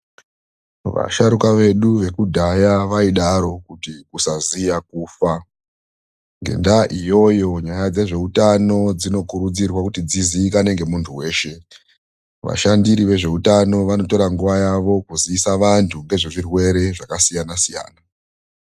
Vasharukwa vedu vekudhaya vaidaro kuti kusaziya kufa. Ngendaa iyoyo, nyaya dzezvehutano dzinokurudzirwa kuti dzizivikanwe nemundu weshe. Vashandiri vezvehutano vanotora nguva yavo kuziisa vandu ngezvezvirwere zvakasiyana siyana.